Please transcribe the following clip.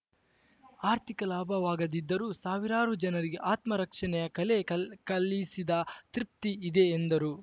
ಆರ್ಥಿಕ ಲಾಭವಾಗದಿದ್ದರೂ ಸಾವಿರಾರು ಜನರಿಗೆ ಆತ್ಮರಕ್ಷಣೆಯ ಕಲೆ ಕಲೆ ಕಲ್ ಕಲಿಸಿದ ತೃಪ್ತಿ ಇದೆ ಎಂದರು